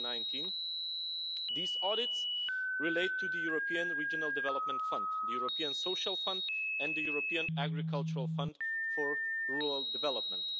2019. These audits relate to the European Regional Development Fund, the European Social Fund and the European Agricultural Fund for Rural Development.